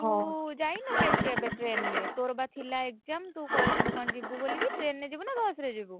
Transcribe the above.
ଆଉ ତୁ କେବେ ଯାଇନୁ କି କେବେ train ରେ ତୋର ବା ଥିଲା exam ତୁ କଣ କହୁଥିଲୁ ଯିବୁ ବୋଲିକି train ରେ ଯିବୁ ନା ବସ୍ ରେ ଯିବୁ?